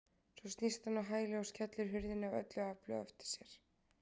Svo snýst hún á hæli og skellir hurðinni af öllu afli á eftir sér.